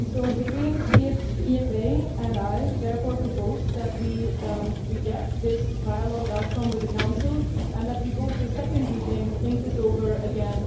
The Greens EFA and I therefore propose that we reject this trialogue outcome with the Council and that we go to a second reading and think this over again.